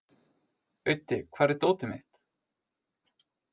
Auddi, hvar er dótið mitt?